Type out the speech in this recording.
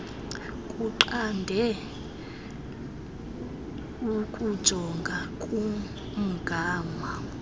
kunqande ukujonga kumgama